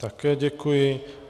Také děkuji.